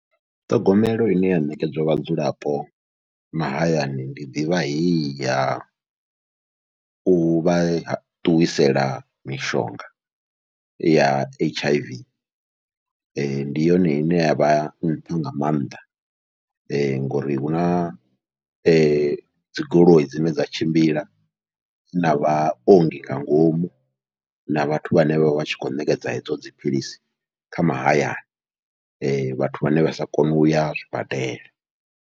Ṱhogomelo ine ya ṋekedzwa vhadzulapo mahayani, ndi ḓivha heyi yau vha ṱuwisela mishonga ya H_I_V ndi yone ine yavha nṱha nga maanḓa, ngori huna dzi goloi dzine dza tshimbila na vhaongi nga ngomu na vhathu vhane vhavha vhatshi kho ṋekedza hedzo dziphilisi kha mahayani, vhathu vhane vha sa koni uya zwibadela.